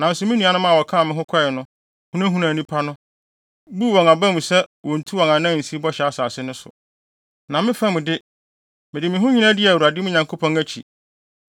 nanso me nuanom a wɔkaa me ho kɔe no hunahunaa nnipa no, buu wɔn aba mu sɛ wonntu wɔn nan nsi Bɔhyɛ Asase no so. Na me fam mu de, mede me ho nyinaa dii Awurade, me Nyankopɔn akyi.